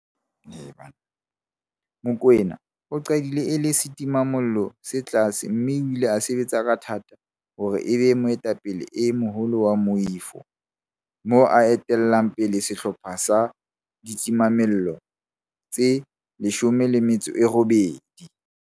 Mokoena o qadile e le setimamollo se tlase mme o ile a sebetsa ka matla hore e be moetapele e moholo wa moifo, moo a etellang pele sehlopha sa ditimamollo tse 18.